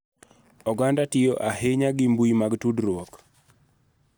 Oganda tiyo ahinya gi mbui mag tudruok